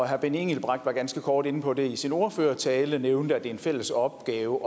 herre benny engelbrecht var ganske kort inde på det i sin ordførertale og nævnte at det er en fælles opgave